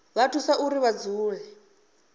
vha thusa uri vha dzule